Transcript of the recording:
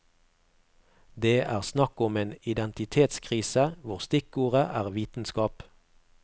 Det er snakk om en identitetskrise hvor stikkordet er vitenskap.